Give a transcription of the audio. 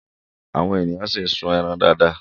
Àwọn èèyàn ṣì ń sun ẹran dáadáa